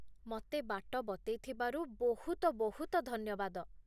ମତେ ବାଟ ବତେଇଥିବାରୁ ବହୁତ ବହୁତ ଧନ୍ୟବାଦ ।